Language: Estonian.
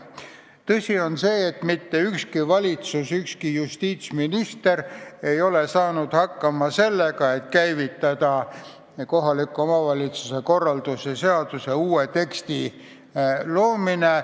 Tõsi on see, et mitte ükski valitsus, ükski justiitsminister ei ole saanud hakkama sellega, et oleks käivitanud kohaliku omavalitsuse korralduse seaduse uue teksti loomise.